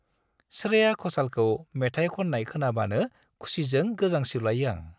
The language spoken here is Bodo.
श्रेया घ'सालखौ मेथाइ खन्नाय खोनाबानो खुसिजों गोजांस्रिउलायो आं।